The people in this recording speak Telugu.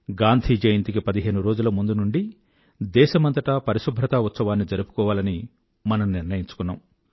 గాంధీ జయంతికి పదిహేను రోజుల ముందు నుండీ దేశమంతటా పరిశుభ్రతా ఉత్సవాన్ని జరుపుకోవాలని మనం నిర్ణయించుకున్నాం